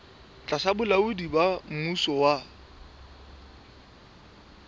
tlasa bolaodi ba mmuso wa